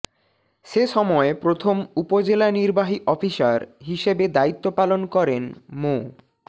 সে সময় প্রথম উপজেলা নির্বাহী অফিসার হিসেবে দায়িত্ব পালন করেন মো